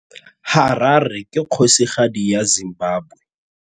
Harare ke kgosigadi ya Zimbabwe.